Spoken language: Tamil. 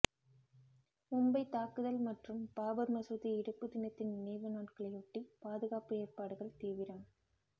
மும்பை தாக்குதல் மற்றும் பாபர் மசூதி இடிப்பு தினத்தின் நினைவு நாட்களையொட்டி பாதுகாப்பு ஏற்பாடுகள் தீவிரம்